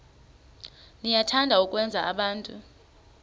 niyathanda ukwenza abantu